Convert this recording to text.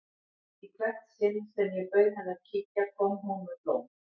Í hvert sinn sem ég bauð henni að kíkja kom hún með blóm.